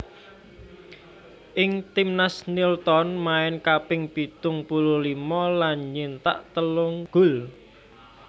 Ing timnas Nilton main kaping pitung puluh limo lan nyithak telung gol